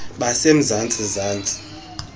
base mzantsi zantsi